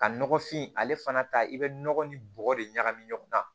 Ka nɔgɔfin ale fana ta i bɛ nɔgɔ ni bɔgɔ de ɲagami ɲɔgɔn na